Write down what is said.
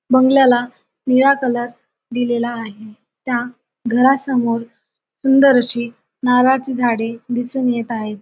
बंगल्याला निळा कलर दिलेला आहे. त्या घरासमोर सुंदर अशी नारळाची झाडे दिसुन येत आहेत.